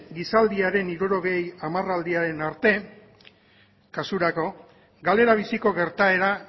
gizaldiaren hirurogei hamarraldiaren arte kasurako galera biziko gertaera